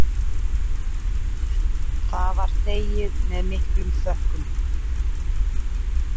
Það var þegið með miklum þökkum.